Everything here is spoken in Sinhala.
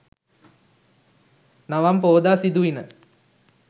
නවම් පෝදා සිදුවිණ.